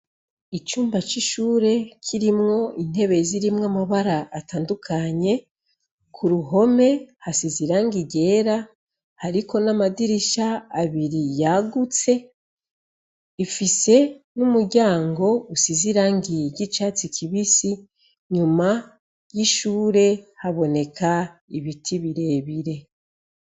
Icumba cishure kirimwo intebe zirimwo amabara atandukanye kuruhome hasize irangi ryera hariko namadirisha abiri yagutse ifise numuryango usize irangi ryicatsi kibisi inyuma yishure haboneka ibiti birebire